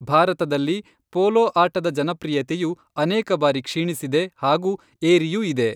ಭಾರತದಲ್ಲಿ, ಪೋಲೋ ಆಟದ ಜನಪ್ರಿಯತೆಯು ಅನೇಕ ಬಾರಿ ಕ್ಷೀಣಿಸಿದೆ ಹಾಗೂ ಏರಿಯೂ ಇದೆ.